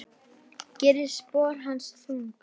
Gerir spor hans þung.